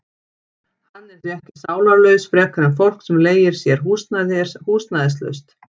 Hann er því ekki sálarlaus frekar en fólk sem leigir sér húsnæði er húsnæðislaust.